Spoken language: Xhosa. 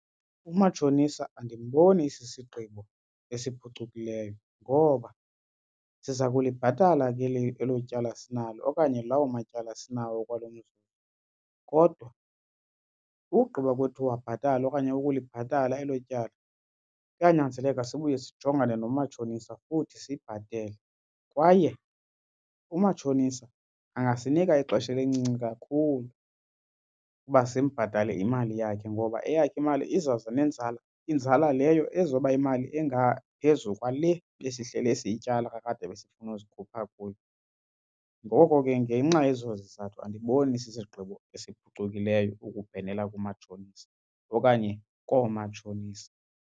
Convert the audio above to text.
Umatshonisa andimboni esisigqibo esiphucukileyo ngoba siza kulibhatala ke elo tyala sinalo okanye lawo matyala sinawo okwalo mzuzu kodwa ugqiba kwethu uwabhatala okanye ukulibhatala elo tyala kuyanyanzeleka sibuye sijongane nomatshonisa futhi sibhatele. Kwaye umatshonisa angasinika ixesha elincinci kakhulu ukuba simbhatale imali yakhe ngoba eyakhe imali izawuza nenzala inzala leyo ezoba yimali engaphezu kwale besihlele siyityala kakade ebesifuna uzikhupha kuyo. Ngoko ke ngenxa yezo zizathu andiboni isisigqibo esiphucukileyo ukubhenela kumatshonisa okanye koomatshonisa.